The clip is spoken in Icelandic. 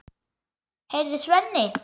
Heyrðu, Svenni!